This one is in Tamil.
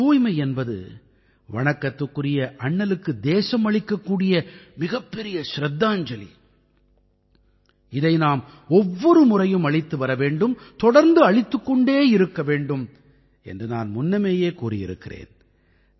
தூய்மை என்பது வணக்கத்துக்குரிய அண்ணலுக்கு தேசம் அளிக்கக்கூடிய மிகப்பெரிய சிரத்தாஞ்சலி இதை நாம் ஒவ்வொரு முறையும் அளித்து வர வேண்டும் தொடர்ந்து அளித்துக் கொண்டே இருக்க வேண்டும் என்று நான் முன்னமேயே கூறியிருக்கிறேன்